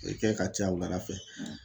A bɛ kɛ ka caya wulada fɛ.